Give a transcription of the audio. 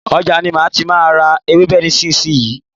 Ọjà ni má tí má a ra ewébè nísìsiyìí.